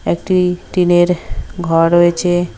একটি টিনের ঘর রয়েছে।